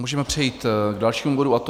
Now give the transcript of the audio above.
Můžeme přejít k dalšímu bodu, a to